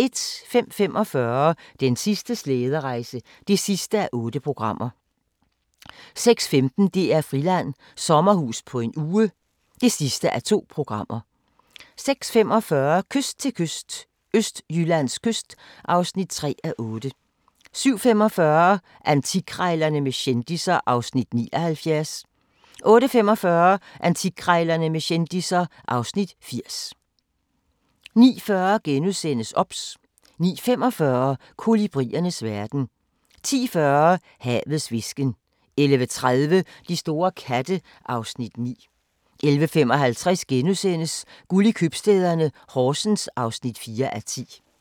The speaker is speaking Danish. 05:45: Den sidste slæderejse (8:8) 06:15: DR-Friland: Sommerhus på en uge (2:2) 06:45: Kyst til kyst – Østjyllands kyst (3:8) 07:45: Antikkrejlerne med kendisser (Afs. 79) 08:45: Antikkrejlerne med kendisser (Afs. 80) 09:40: OBS * 09:45: Kolibriernes verden 10:40: Havets hvisken 11:30: De store katte (Afs. 9) 11:55: Guld i købstæderne – Horsens (4:10)*